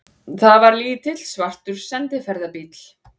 Þetta var lítill, svartur sendiferðabíll.